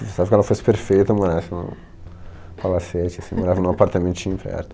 Eu pensava que ela fosse perfeita morasse em um palacete, assim, morava em um apartamentinho perto.